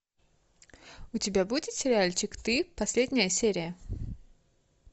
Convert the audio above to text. у тебя будет сериальчик ты последняя серия